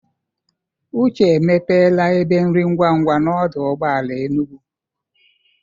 Uche emepela ebe nri ngwangwa n'ọdụ ụgbọ ala Enugwu.